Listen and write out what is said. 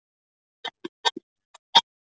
kynni að fá sölunni hnekkt með málsókn.